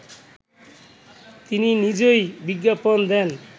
তিনি নিজেই বিজ্ঞাপন দেন